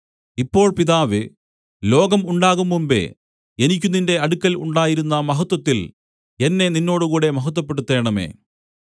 ഇപ്പോൾ പിതാവേ ലോകം ഉണ്ടാകുംമുമ്പെ എനിക്ക് നിന്റെ അടുക്കൽ ഉണ്ടായിരുന്ന മഹത്വത്തിൽ എന്നെ നിന്നോടുകൂടെ മഹത്വപ്പെടുത്തേണമേ